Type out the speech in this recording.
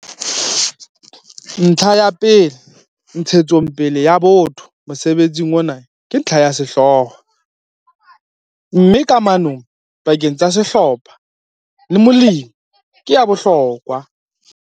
Ntlha ya ntshetsopele ya botho mosebetsing ona ke ntlha ya sehlooho, mme kamano pakeng tsa sehlopha le molemi ke ya bohlokwa.